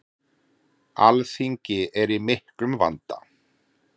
Alþingi er í miklum vanda.